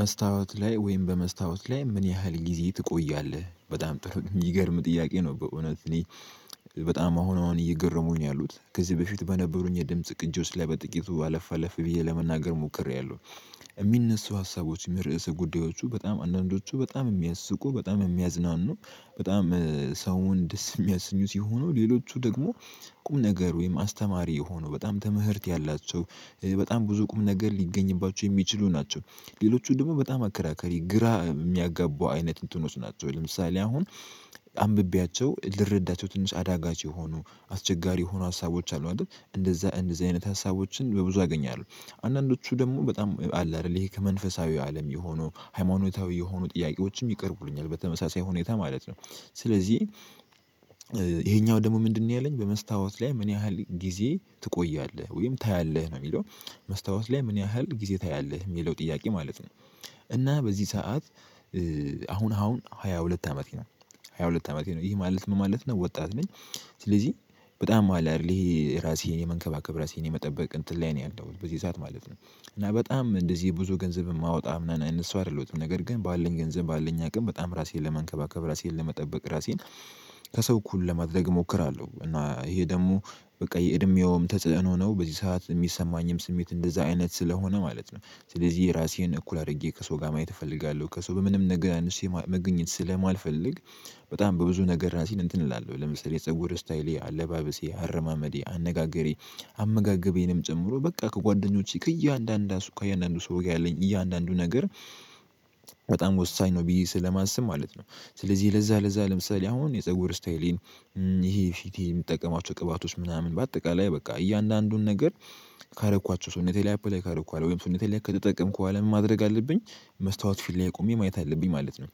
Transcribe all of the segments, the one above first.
መስታወት ላይ ወይም በመስታወት ላይ ምን ያህል ጊዜ ትቆያለህ በጣም የሚገርም ጥያቄ ነው? በእውነት እኔ በጣም አሁን አሁን እየገረሙኝ ነው ያሉት ከዚህ በፊት በነበሩኝ የድምጽ ቅጂ ውስጥ ላይ በጥቂቱ አለፍ አለፍ ብዬ ለመናገር ሞክሬያለሁ። የሚነሳው ሀሳቦች መ ርዕሰ ጉዳዮቹ በጣም አንዳንዶቹ በጣም የሚያስቁ በጣም የሚያዝናኑ በጣም ሰውን ደስ የሚያስኙ ሲሆኑ ሌሎቹ ደግሞ ቁም ነገር ወይም አስተማሪ የሆኑ በጣም ትምህርት ያላቸው በጣም ብዙ ቁም ነገር ሊገኝባቸው የሚችሉ ናቸው። ሌሎቹ ደግሞ በጣም አከራካሪ ግራ የሚያጋቡ አይነት እንትኖች ናቸው። ለምሳሌ አሁን አንብቤያቸው ልረዳቸው ትንሽ አዳጋች የሆኑ አስቸጋሪ የሆኑ ሀሳቦች አሉ አይደል እንደዛ እንደዚህ አይነት ሀሳቦችን በብዙ አገኛለሁ አንዳንዶቹ ደግሞ በጣም አለ አይደል ይሄ ከመንፈሳዊው አለም የሆኑ ሃይማኖታዊ የሆኑ ጥያቄዎችም ይቀርቡልኛል በተመሳሳይ ሁኔታ ማለት ነው። ስለዚህ ይሄኛው ደግሞ ምንድነው ያለኝ በመስታወት ላይ ምን ያህል ጊዜ ትቆያለህ ወይም ታያለህ ነው የሚለው? መስታወት ላይ ምን ያህል ጊዜ ታያለህ የሚለው ጥያቄ ማለት ነው። እና በዚህ ሰዓት አሁን አሁን ሃያ ሁለት አመቴ ነው። ሃያ ሁለት አመቴ ነው ይህ ማለት ምን ማለት ነው ወጣት ነኝ። ስለዚህ በጣም አለ አይደል ይሄ ራሴን የመንከባከብ ራሴን የመጠበቅ እንትን ላይ ነው ያለውኝ በዚህ ሰዓት ማለት ነው። እና በጣም እንደዚህ ብዙ ገንዘብ የማወጣ ምናም ሰው አይደሉትም ነገር ግን ባለኝ ገንዘብ ባለኝ አቅም በጣም ራሴን ለመንከባከብ ራሴን ለመጠበቅ ራሴን ከሰው እኩል ለማድረግ እሞክራለሁ። እና ይሄ ደግሞ በቃ የእድሜውም ተጽዕኖ ነው በዚህ ሰዓት የሚሰማኝም ስሜት እንደዛ አይነት ስለሆነ ማለት ነው። ስለዚህ የራሴን እኩል አድርጌ ከሰው ጋር ማየት እፈልጋለሁ ከሰው በምንም ነገር አንሼ ማ መገኘት ስለማልፈልግ። በጣም በብዙ ነገር ራሴን እንትን እላለሁ ለምሳሌ ፀጉር ስታይሌ አለባበሴ አረማመዴ አነጋገሬ አመጋገቤንም ጨምሮ በቃ ከጓደኞቼ ከእያንዳንዳ ከእያንዳንዱ ሰው ጋር ያለኝ እያንዳንዱ ነገር በጣም ወሳኝ ነው ብዬ ስለማስብ ማለት ነው። ስለዚህ ለዛ ለዛ ለምሳሌ አሁን የፀጉር ስታይሌን ይሄ ፊቴ የምጠቀማቸው ቅባቶች ምናምን በአጠቃላይ በቃ እያንዳንዱን ነገር ካረኳቸው ስውነቴ ላይ አፕላይ ካረኩ ወይም ሰውነቴ ላይ ከተጠቀምኩ በኋላ ምን ማድረግ አለብኝ? መስታወት ፊት ላይ ቆሜ ማየት አለብኝ ማለት ነው።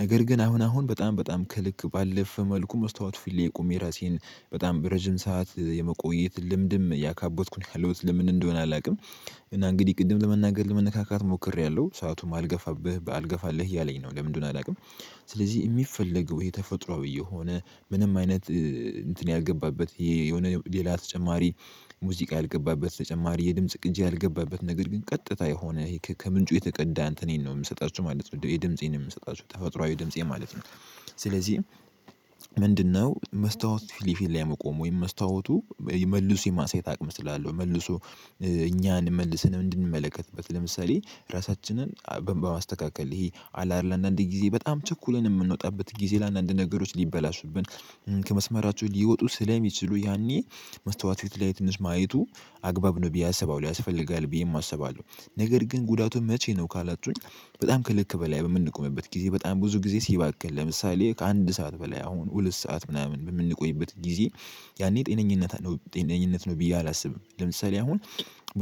ነገር ግን አሁን አሁን በጣም በጣም ከልክ ባለፈ መልኩ መስታወት ፊት ላይ ቆሜ የራሴን በጣም በረጅም ሰዓት የመቆየት ልምድም እያካበትኩኝ ነው ያለውት ለምን እንደሆነ አላውቅም። እና እንግዲህ ቅድም ለመናገር ለመነካካት ሞክሬያለሁ ሰአቱም አልገፋብህ ባልገፋልህ እያለኝ ነው ለምን እንደሆነ አላውቅም። ስለዚህ የሚፈለገው የተፈጥሮአዊ የሆነ ምንም አይነት እንትን ያልገባበት የሆነ ሌላ ተጨማሪ ሙዚቃ ያልገባበት ተጨማሪ የድምጽ ቅጂ ያልገባበት ነገር ግን ቀጥታ የሆነ ከምንጩ የተቀዳ እንትኔን ነው የምሰጣችሁ ማለት ነው የድምፄን የምንሰጣቸው ተፈጥሮአዊ ድምፄ ማለት ነው። ስለዚህ ምንድነው መስታወት ፊሊፊት ላይ መቆም ወይም መስታወቱ መልሶ የማሳየት አቅም ስላለው መልሶ እኛን መልስ እንድንመለከትበት ለምሳሌ ራሳችንን በማስተካከል ይሄ አለ አይደል አንዳንድ ጊዜ በጣም ቸኩልን የምንወጣበት ጊዜ ለአንዳንድ ነገሮች ሊበላሹብን ከመስመራቸው ሊወጡ ስለሚችሉ ያኔ መስታወት ፊት ላይ ትንሽ ማየቱ አግባብ ነው ብዬ አስባው ያስፈልጋል ብዬም አስባለሁ። ነገር ግን ጉዳቱን መቼ ነው ካላችሁኝ? በጣም ከልክ በላይ በምንቆምበት ጊዜ በጣም ብዙ ጊዜ ሲባክን ለምሳሌ ከአንድ ሰዓት በላይ አሁን ሁለት ሰዓት ምናምን በምንቆይበት ጊዜ። ያኔ ጤነኝነት ነው ጤነኝነት ነው ብዬ አላስብም። ለምሳሌ አሁን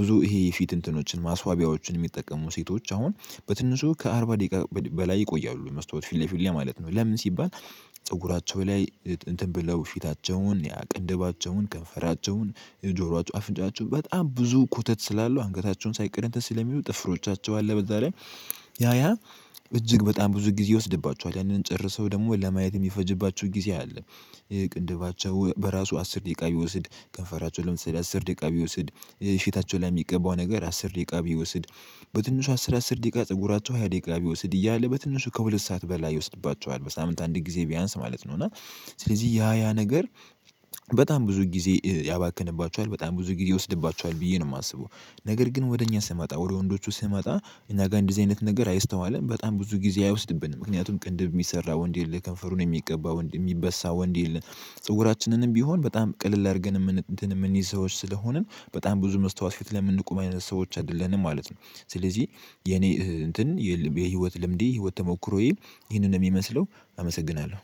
ብዙ ይሄ የፊት እንትኖችን ማስዋቢያዎችን የሚጠቀሙ ሴቶች አሁን በትንሹ ከአርባ ደቂቃ በላይ ይቆያሉ መስታወት ፊትለፊት ላይ ማለት ነው። ለምን ሲባል ፀጉራቸው ላይ እንትን ብለው ፊታቸውን ያ ቅድባቸውን ከንፈራቸውን የጆሮአቸው አፍንጫቸውን በጣም ብዙ ኮተት ስላለው አንገታቸውን ሳይቀር እንትን ስለሚሉ ጥፍሮቻቸው አለ በዛ ላይ ያ ያ እጅግ በጣም ብዙ ጊዜ ይወስድባቸዋል ያንን ጨርሰው ደግሞ ለማየት የሚፈጅባቸው ጊዜ አለ። ቅንድባቸው በራሱ አስር ደቂቃ ቢወስድ ከንፈራቸውን ለምሳሌ አስር ደቂቃ ቢወስድ ሽታቸው ላይ የሚገባው ነገር አስር ደቂቃ ቢወስድ በትንሹ አስር አስር ደቂቃ ፀጉራቸው ሃያ ደቂቃ ቢወስድ እያለ በትንሹ ከሁለት ሰዓት በላይ ይወስድባቸዋል በሳምንት አንድ ጊዜ ቢያንስ ማለት ነው እና ስለዚህ ያ ያ ነገር በጣም ብዙ ጊዜ ያባክንባቸዋል በጣም ብዙ ጊዜ ይወስድባቸዋል ብዬ ነው የማስበው። ነገር ግን ወደ እኛ ስመጣ ወደ ወንዶቹ ስመጣ እኛ ጋር እንደዚህ አይነት ነገር አይስተዋልም በጣም ብዙ ጊዜ አይወስድብንም ምክንያቱም ቅንድብ የሚሰራ ወንድ የለም። ከንፈሩን የሚቀባ ወንድ የሚበሳ ወንድ የለ። ጸጉራችንንም ቢሆን በጣም ቀለል አድርገን እምን እንትን የምንይዝ ሰዎች ስለሆንን በጣም ብዙ መስታወት ፊት ላይ የምንቆም አይነት ሰዎች አይደለንም ማለት ነው። ስለዚህ የኔ እንትን የል የህይወት ልምዴ ህይወት ተሞክሮዬ ይሄንን ነው የሚመስለው። አመሰግናለሁ